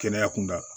Kɛnɛya kunda